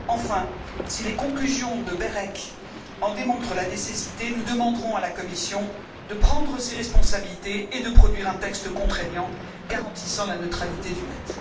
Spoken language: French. Enfin, si les conclusions de BEREC en démontrent la nécessité, nous demanderons à la Commission de prendre ses responsabilités et de produire un texte contraignant garantissant la neutralité du net.